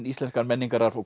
íslenskan menningararf og